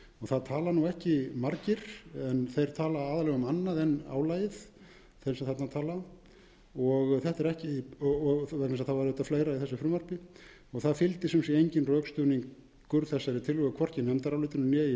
það tala nú ekki margir þeir tala aðallega um annað en álagið þeir sem þarna tala það var auðvitað fleira í þessu frumvarpi það fylgdu sum sé engin rökstuðningur þessari tillögu hvorki nefndarálitinu né í framsöguræðu